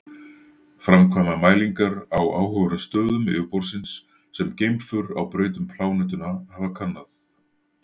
Framkvæma mælingar á áhugaverðum stöðum yfirborðsins sem geimför á braut um plánetuna hafa kannað.